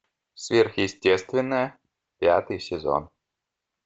сверхъестественное пятый сезон